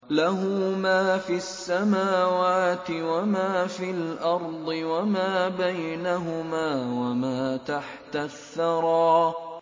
لَهُ مَا فِي السَّمَاوَاتِ وَمَا فِي الْأَرْضِ وَمَا بَيْنَهُمَا وَمَا تَحْتَ الثَّرَىٰ